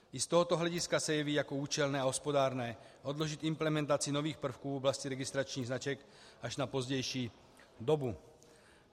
I z tohoto hlediska se jeví jako účelné a hospodárné odložit implementaci nových prvků v oblasti registračních značek až na pozdější dobu.